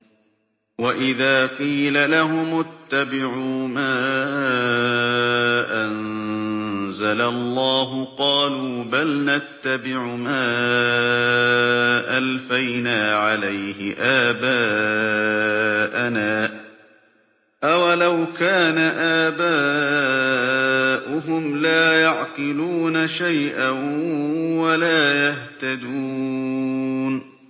وَإِذَا قِيلَ لَهُمُ اتَّبِعُوا مَا أَنزَلَ اللَّهُ قَالُوا بَلْ نَتَّبِعُ مَا أَلْفَيْنَا عَلَيْهِ آبَاءَنَا ۗ أَوَلَوْ كَانَ آبَاؤُهُمْ لَا يَعْقِلُونَ شَيْئًا وَلَا يَهْتَدُونَ